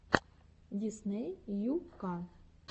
дисней ю ка